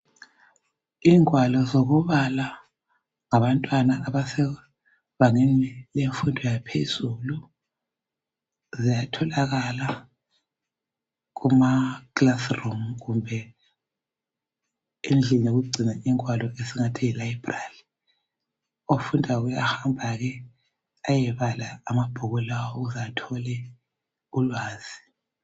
Ingwalo zokubala ngabantwana abase bangeni lemfundo yaphezulu .Ziyatholakala kuma classroom kumbe endlini zokugcina ingwalo esingathi yilibrary .Ofundayo uyahamba ke ayebala. amabhuku lawa ukuze athole ulwazi